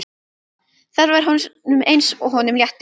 Það var eins og honum létti.